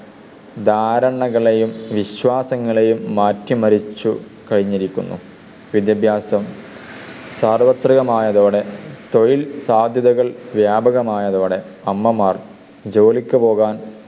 ധാരണകളെയും വിശ്വാസങ്ങളെയും മാറ്റി മറിച്ചു കഴിഞ്ഞിരിക്കുന്നു. വിദ്യാഭ്യാസം സാർവത്രികമായതോടെ തൊഴിൽ സാധ്യതകൾ വ്യാപകമായതോടെ അമ്മമാർ ജോലിക്കു പോകാൻ